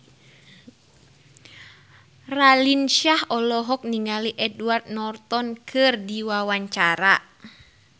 Raline Shah olohok ningali Edward Norton keur diwawancara